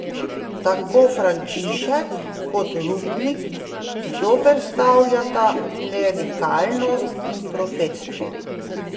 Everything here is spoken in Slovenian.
Tako Frančišek kot Rupnik zoperstavljata klerikalnost in profetstvo.